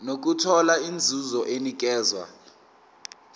nokuthola inzuzo enikezwa